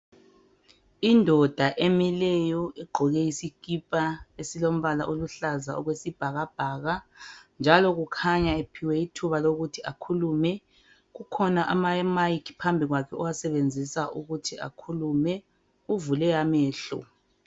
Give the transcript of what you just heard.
Idonda emileyo egqoke isikipa e as esiluhlaza okwesibhakabhaka njalo kukhanya uphiwe ithuba lokuthi akhulume kukhona ama mayikhi phambi kwakhe owasebenzisa ukuthi akhulume uvule amehlo